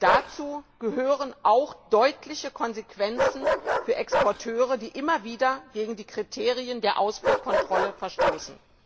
Dazu gehören auch deutliche Konsequenzen für Exporteure, die immer wieder gegen die Kriterien der Ausfuhrkontrolle verstoßen.